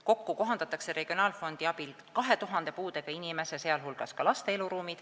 Kokku kohandatakse regionaalfondi abil 2000 puudega inimese, sh laste eluruume.